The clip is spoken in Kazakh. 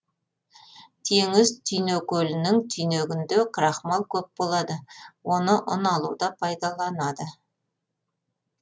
теңіз түйнекөлінің түйнегінде крахмал көп болады оны ұн алуда пайдаланады